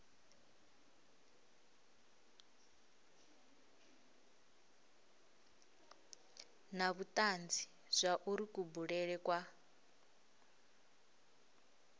na vhutanzi zwauri kubulele kwa